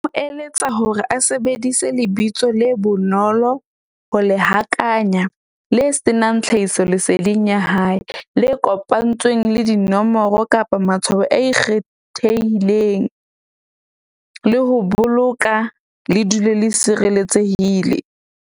Ho eletsa hore a sebedise lebitso le bonolo ho le hakanya le senang tlhahisoleseding ya hae, le kopantsweng le dinomoro, kapa matshwao a ikgethehileng. Le ho boloka le dule le sireletsehile.